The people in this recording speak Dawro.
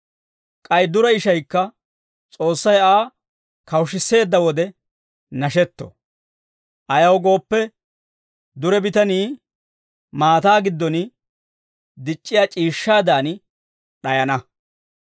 K'ay dure ishaykka S'oossay Aa kawushisseedda wode nashetto. Ayaw gooppe, dure bitanii maataa giddon dic'c'iyaa c'iishshaadan d'ayana.